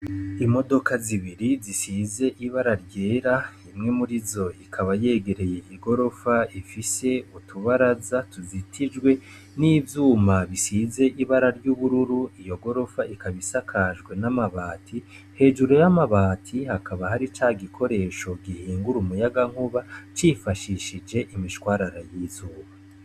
Imodoka zibiri zisize ibara ryera, imwe mur'izo ikaba yegereye igorofa ifise utubaraza tuzitijwe n'ivyuma bisize ibara ry'ubururu, iyo gorofa ikaba isakajwe n'amabati, hejuru y'amabati hakaba hari ca gikoresho gihingura umuyagankuba cifashishije imishwarara y'izuba.